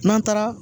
N'an taara